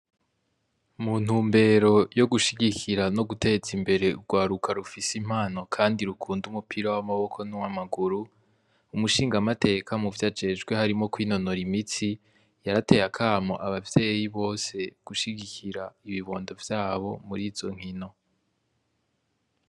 Muntumbero yogushigikira no guteza imbere urwaruka rufise impano kandi rukunda umupira w'amaboko nuwa maguru, Umushinga mateka muvyo ajejwe harimwo kwinonora imitsi yarateye akamo abavyeyi bose gushigikira ibibondo vyabo murizo nkino.